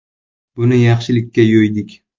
Buni yaxshilikka yo‘ydik.